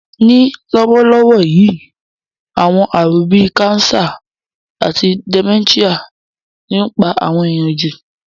Ní lówólówó yi, àwon àrún bi cancer àti dementia ni o n pa àwon èyàn jù